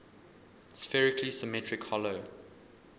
spherically symmetric hollow